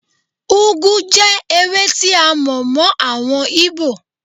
Úgú jẹ́ ewé tí a mọ̀ mọ́ àwọn Íbò.